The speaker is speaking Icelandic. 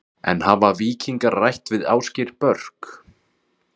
En hafa Víkingar rætt við Ásgeir Börk?